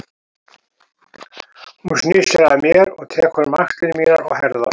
Hún snýr sér að mér og tekur um axlir mínar og herðar.